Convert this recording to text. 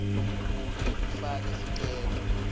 kute ufake sicelo